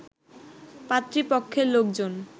পাত্রীপক্ষের লোকজন